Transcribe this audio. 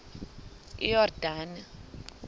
iyordane